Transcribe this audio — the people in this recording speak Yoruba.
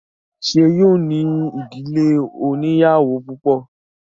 Ṣé yóò ní ìdílé oníyàwó púpọ̀?